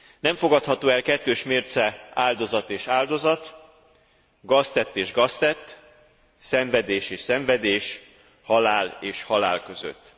Nem fogadható el kettős mérce áldozat és áldozat, gaztett és gaztett, szenvedés és szenvedés, halál és halál között.